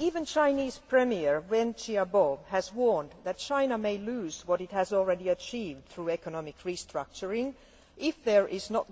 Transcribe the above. Even Chinese premier, Wen Jiabao, has warned that China may lose what it has already achieved through economic restructuring if there is no